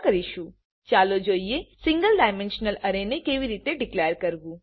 ચાલો જોઈએ single dimensional array single dimensional array ને કેવી રીતે ડીકલેર કરવું